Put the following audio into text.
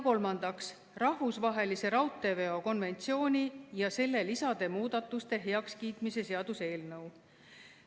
Kolmandaks, rahvusvahelise raudteeveo konventsiooni ja selle lisade muudatuste heakskiitmise seaduse eelnõu.